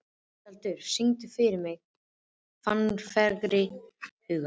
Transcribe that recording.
Tjaldur, syngdu fyrir mig „Fannfergi hugans“.